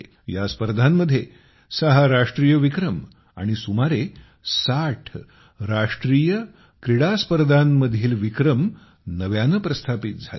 या स्पर्धांमध्ये सहा राष्ट्रीय विक्रम आणि सुमारे साठ राष्ट्रीय क्रीडा स्पर्धांतील विक्रम नव्याने प्रस्थापित झाले